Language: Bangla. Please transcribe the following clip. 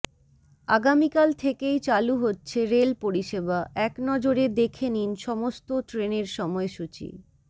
আগামীকাল থেকেই চালু হচ্ছে রেল পরিষেবা একনজরে দেখে নিন সমস্ত ট্রেনের সময়সূচি